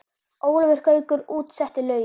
Ólafur Gaukur útsetti lögin.